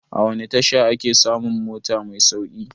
A wani tasha ake samun mota mai sauƙi?